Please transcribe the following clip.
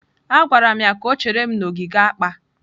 Agwara m ya ka o chere m n'ogige akpa.